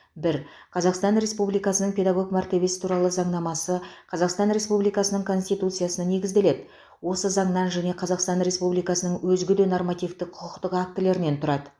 бір қазақстан республикасының педагог мәртебесі туралы заңнамасы қазақстан республикасының конституциясына негізделеді осы заңнан және қазақстан республикасының өзге де нормативтік құқықтық актілерінен тұрады